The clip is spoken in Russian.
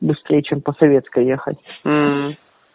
быстрее чем по советской ехать